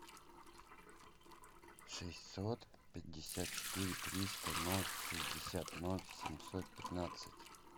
шестьсот пятьдесят четыре триста ноль шестьдесят ноль семьсот пятнадцать